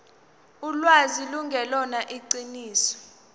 ulwazi lungelona iqiniso